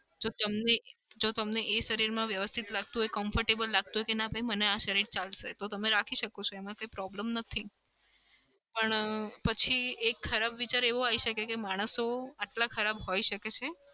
જો તમને જો તમને એ શરીરમાં વ્યવસ્થિત લાગતું હોય, comfortable લાગતું હોય કે ના ભઈ મને આ શરીર ચાલશે. તો તમે રાખી શકો છો એમાં કોઈ problem નથી. પણ પછી એક ખરાબ વિચાર એવો આવી શકે છે કે માણસો આટલા ખરાબ હોઈ શકે છે?